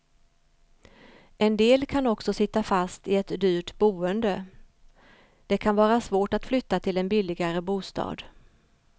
En del kan också sitta fast i ett dyrt boende, det kan vara svårt att flytta till en billigare bostad.